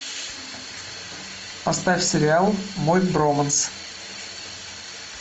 поставь сериал мой броманс